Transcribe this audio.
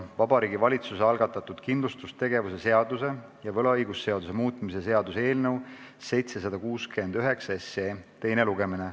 Vabariigi Valitsuse algatatud kindlustustegevuse seaduse ja võlaõigusseaduse muutmise seaduse eelnõu 769 teine lugemine.